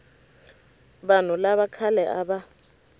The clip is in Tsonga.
vanhu lava khale a va